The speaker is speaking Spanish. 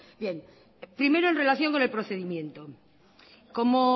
primero en relación con el procedimiento como